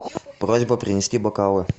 просьба принести бокалы